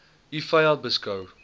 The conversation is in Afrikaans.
u vyand beskou